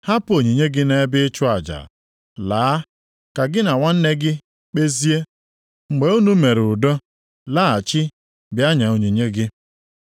hapụ onyinye gị nʼebe ịchụ aja, laa ka gị na nwanne gị kpezie. Mgbe unu mere udo, laghachi bịa nye onyinye gị.